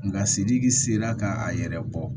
Nka sididi sera ka a yɛrɛ bɔ